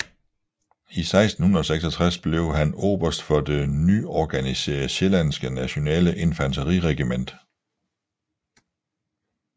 I 1666 blev han oberst for det nyorganiserede Sjællandske Nationale Infanteriregiment